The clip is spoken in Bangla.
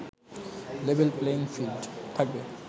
লেভেল প্লেয়িং ফিল্ড থাকবে